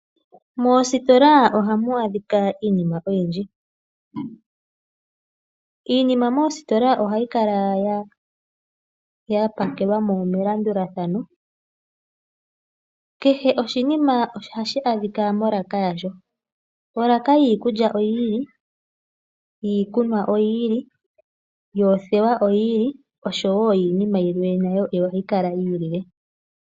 Mositola ohamu adhika iinima oyindji. Iinima moositola ohayi kala ya pakelwamo melandulathano, kehe oshinima ohashi adhika molaka yasho olaka yiikulya oyi ili, yiikunwa oyi ili, yoothewa oyi ili noyinima yimwe nayo ohayi kala yi ilile.